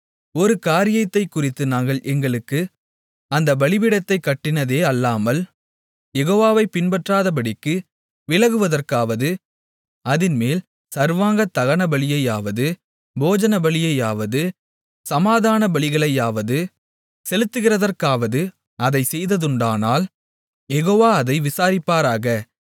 ஒரு காரியத்தைக்குறித்து நாங்கள் எங்களுக்கு அந்த பலிபீடத்தைக் கட்டினதே அல்லாமல் யெகோவாவைப் பின்பற்றாதபடிக்கு விலகுவதற்காவது அதின்மேல் சர்வாங்கதகனபலியையாவது போஜனபலியையாவது சமாதானபலிகளையாவது செலுத்துகிறதற்காவது அதைச் செய்ததுண்டானால் யெகோவா அதை விசாரிப்பாராக